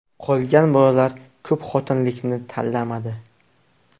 Qolgan bolalar ko‘pxotinlilikni tanlamadi.